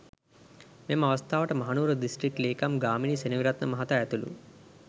මෙම අවස්ථාවට මහනුවර දිස්ත්‍රික් ලේකම් ගාමිණී සෙනවිරත්න මහතා ඇතුළු